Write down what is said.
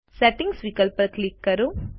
settings વિકલ્પ પર click કરો